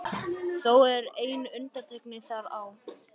Þó er ein undantekning þar á.